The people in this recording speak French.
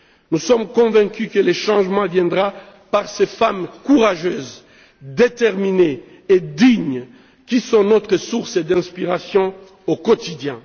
Nous sommes convaincus que le changement viendra par ces femmes courageuses, déterminées et dignes qui sont notre source d'inspiration au quotidien.